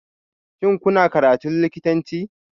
Shin kuna karatun likitanci?